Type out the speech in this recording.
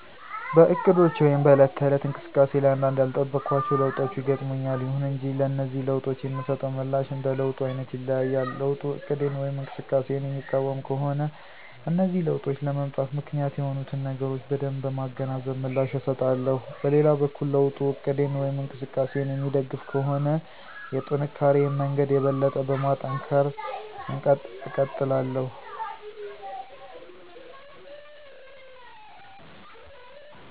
በእቅዶቼ ወይም በዕለት ተዕለት እንቅስቃሴ ላይ አንዳንድ ያልጠበኳቸው ለውጦች ይገጥሙኛል። ይሁን እንጂ ለነዚህ ለውጦች የምሰጠው ምላሽ እንደ ለውጡ አይነት ይለያያል። ለውጡ እቅዴን ወይም እንቅስቃሴየን የሚቃወም ከሆነ እነዚህ ለውጦች ለመምጣት ምክንያት የሆኑትን ነገሮች በደንብ በማገናዘብ ምላሽ እሰጣለሁ። በሌላ በኩል ለውጡ እቅዴን ወይም እንቅስቃሴየን የሚደግፍ ከሆነ የጥንካሪየን መንገድ የበለጠ በማጠናከር እቀጥላለሁ።